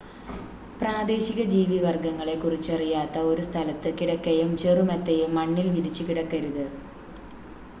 പ്രാദേശിക ജീവിവർഗ്ഗങ്ങളെ കുറിച്ചറിയാത്ത ഒരു സ്ഥലത്ത് കിടക്കയും ചെറുമെത്തയും മണ്ണിൽ വിരിച്ചു കിടക്കരുത്